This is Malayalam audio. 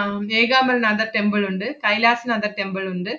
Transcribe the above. ആഹ് ഏകാംബരനാഥ temple ഒണ്ട്. കൈലാസനാഥ temple ഒണ്ട്